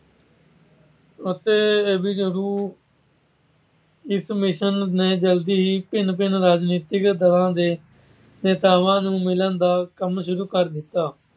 ਅਤੇ A. V Alexander Stafford Cripps ਨੇ ਜਲਦੀ ਹੀ ਭਿੰਨ-ਭਿੰਨ ਰਾਜਨੀਤਿਕ ਦਲਾਂ ਦੇ ਨੇਤਾਵਾਂ ਨੂੰ ਮਿਲਣ ਦਾ ਕੰਮ ਸ਼ੁਰੂ ਕਰ ਦਿੱਤਾ।